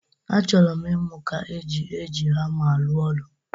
Achọrọmụ ịmụ ka e ji eji hama arụ ọrụ.